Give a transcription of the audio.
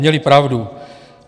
Měli pravdu.